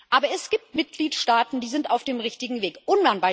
Aber es gibt Mitgliedstaaten, die auf dem richtigen Weg sind.